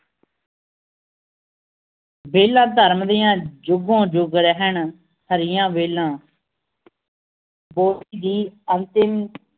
ਬੇਲਾ ਧਰਮ ਦੀਆਂ ਜੁਗੋਂ ਜੁੱਗ ਰਹਿਣ ਹਰੀਆਂ ਵੇਲਾਂ ਅੰਤਿਮ